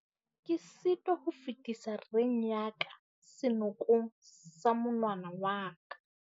Ke sitwa ho fetisa reng ya ka senokong sa monwana wa ka.